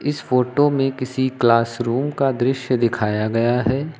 इस फोटो में किसी क्लास रूम का दृश्य दिखाया गया है।